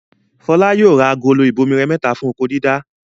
Fọlá yóò ra àwọn agolo ìbomirẹ mẹ́ta fún oko-dídá.